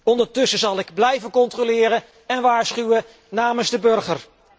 Ondertussen zal ik blijven controleren en waarschuwen namens de burger.